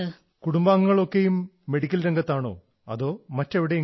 and your family members are also in a medical profession or somewhere else